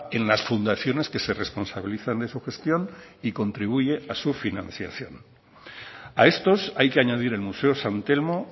en las fundaciones que se responsabilizan de su gestión y contribuye a su financiación a estos hay que añadir el museo san telmo